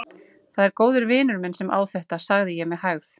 Það er góður vinur minn sem á þetta, sagði ég með hægð.